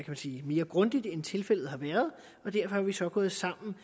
man sige mere grundig måde end tilfældet har været derfor er vi så gået sammen